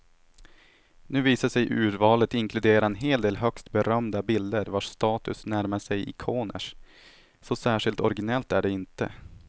Nu visar sig urvalet inkludera en hel del högst berömda bilder vars status närmar sig ikoners, så särskilt originellt är det inte.